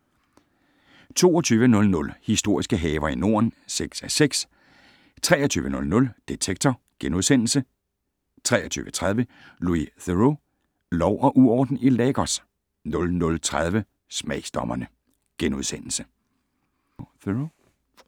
22:00: Historiske haver i Norden (6:6) 23:00: Detektor * 23:30: Louis Theroux: Lov og uorden i Lagos 00:30: Smagsdommerne *